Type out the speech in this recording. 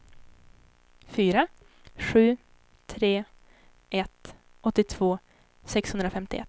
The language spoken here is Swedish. fyra sju tre ett åttiotvå sexhundrafemtioett